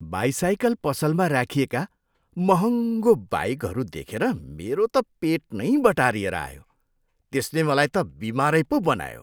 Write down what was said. By cycle पसलमा राखिएका महँगो बाइकहरू देखेर मेरो त पेट नै बटारिएर आयो। त्यसले मलाई त बिमारै पो बनायो।